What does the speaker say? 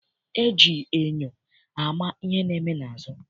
E ji enyo ama ihe na-eme n'azụ.